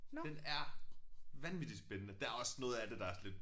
Den er vanvittig spændende der også noget af det der er sådan lidt